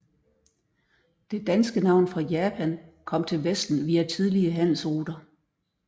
Det danske navn for Japan kom til vesten via tidlige handelsruter